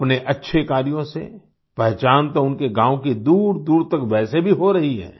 अपने अच्छे कार्यों से पहचान तो उनके गाँव की दूरदूर तक वैसे भी हो रही है